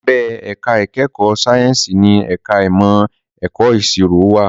Abẹ́ ẹ̀ka ìkẹ́kọ̀ọ́ sáyẹ́ǹsì ni ẹ̀ka ìmọ̀ ẹ̀kọ́ ìṣirò wà